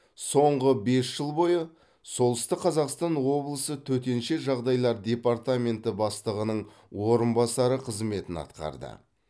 соңғы бес жыл бойы солтүстік қазақстан облысы төтенше жағдайлар департаменті бастығының орынбасары қызметін атқарды